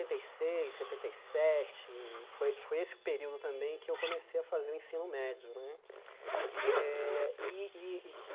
Setenta e seis, setenta e sete, foi foi esse o período também que eu comecei a fazer o ensino médio né. Eh e e e